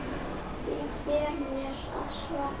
Því ber mér að svara.